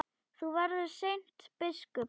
Þú verður seint biskup!